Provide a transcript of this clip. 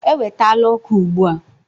Ewetala ọkụ ugbu a.